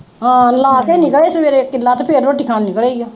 ਹਾਂ ਲਾ ਕੇ ਨਿਕਲਿਆ ਈ ਆ ਸਵੇਰੇ, ਤੇ ਲਾ ਕੇ ਫਿਰ ਰੋਟੀ ਖਾਣ ਨਿਕਲਿਆ ਈ ਆ।